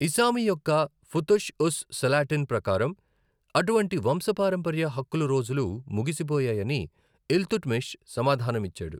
ఇసామి యొక్క ఫుతుహ్ ఉస్ సలాటిన్ ప్రకారం, అటువంటి వంశపారంపర్య హక్కులు రోజులు ముగిసిపోయాయని ఇల్‌తుడ్‌మిస్ సమాధానమిచ్చాడు.